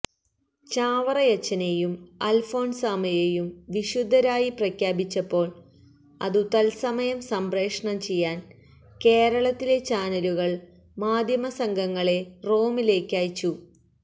ചാവറയച്ചനെയും അല്ഫോന്സാമ്മയെയും വിശുദ്ധരായി പ്രഖ്യാപിച്ചപ്പോള് അതു തത്സമയം സംപ്രേഷണം ചെയ്യാന് കേരളത്തിലെ ചാനലുകള് മാധ്യമസംഘങ്ങളെ റോമിലേയ്ക്ക് അയച്ചു